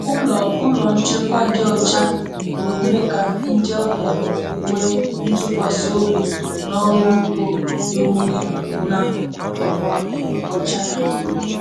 Ụlọ Ụlọ nchekwa dị ọcha na-eme ka ndị ọbịa nwee ntụkwasị obi na ọrụ ugbo ewu gị na ọkwa ọcha ya.